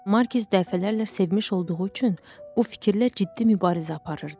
Markiz dəfələrlə sevmiş olduğu üçün bu fikirlə ciddi mübarizə aparırdı.